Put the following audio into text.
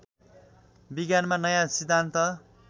विज्ञानमा नयाँ सिद्धान्त